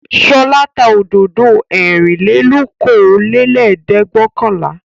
Ṣọlá tá òdòdó ẹ̀rìnlélókòólẹ́ẹ̀dẹ́gbẹ̀ọ̀kànlá.